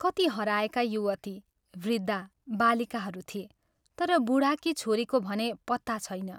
कति हराएका युवती, वृद्धा, बालिकाहरू थिए तर बूढाकी छोरीको भने पत्ता छैन।